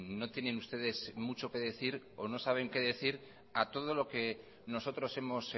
no tienen ustedes mucho que decir o no saben qué decir a todo lo que nosotros hemos